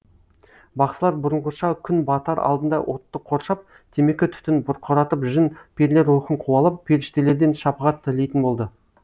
бақсылар бұрынғыша күн батар алдында отты қоршап темекі түтін бұрқыратып жын перілер рухын қуалап періштелерден шапағат тілейтін болды